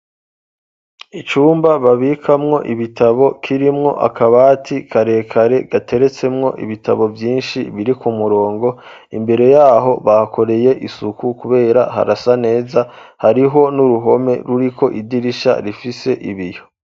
icumba babikamwo ibitabo kirimwo akabati karekare gateretsemwo ibitabo byinshi biri ku murongo imbere yaho bahakoreye isuku kubera harasa neza hariho n'uruhome ruriko idirisha rifise ibiyo